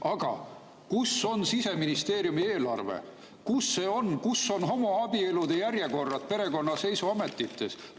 Aga kus on Siseministeeriumi eelarves homoabielude järjekorrad perekonnaseisuametites?